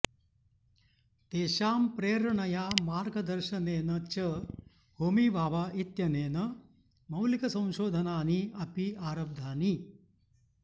तेषां प्रेरणया मार्गदर्शनेन च होमी भाभा इत्यनेन मौलिकसंशोधनानि अपि आरब्धानि